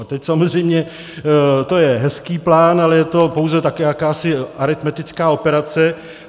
A teď - samozřejmě to je hezký plán, ale je to pouze také jakási aritmetická operace.